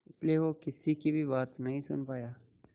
इसलिए वो किसी की भी बात नहीं सुन पाया